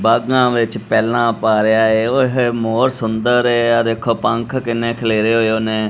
ਬਾਗਾਂ ਵਿੱਚ ਪਹਿਲਾਂ ਪਾ ਰਿਹਾ ਹੈ ਓਏ ਹੋਏ ਮੋਰ ਸੁੰਦਰ ਹੈ ਇਹ ਦੇਖੋ ਪੰਖ ਕਿੰਨੇ ਖਿਲੇਰੇ ਹੋਏ ਉਹਨੇ।